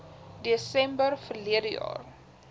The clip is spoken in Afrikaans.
desember verlede jaar